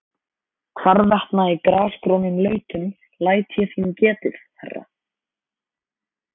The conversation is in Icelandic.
Hvarvetna í grasgrónum lautum læt ég þín getið, herra.